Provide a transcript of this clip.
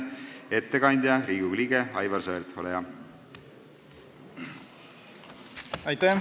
Ettekandja Riigikogu liige Aivar Sõerd, ole hea!